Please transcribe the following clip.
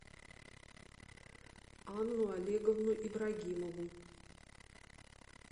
анну олеговну ибрагимову